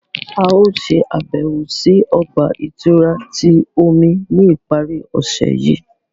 A yóò ṣabẹwo si ọgba-ìturá ti omi ni ipari ọse yii.